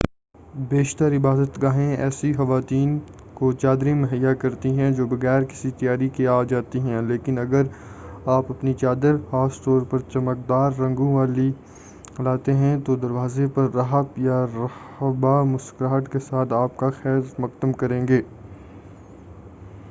بیشتر عبادت گاہیں ایسی خواتین کو چادریں مہیا کرتی ہیں جو بغیر کسی تیاری کے آ جاتی ہیں لیکن اگر آپ اپنی چادر خاص طور پر چمکدار رنگوں والی لاتے ہیں تو دروازے پر راہب یا راہبہ مسکراہٹ کے ساتھ آپ کا خیر مقدم کرے گی